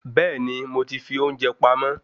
Bẹẹni moti fi ounjẹ pamó